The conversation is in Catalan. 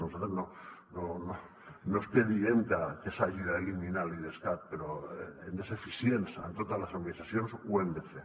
nosaltres no és que diguem que s’hagi d’eliminar l’idescat però hem de ser eficients en totes les administracions ho hem de fer